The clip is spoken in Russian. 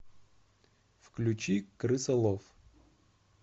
включи крысолов